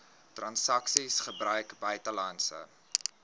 transaksies gebruik buitelandse